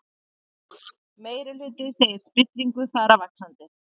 Meirihluti segir spillingu fara vaxandi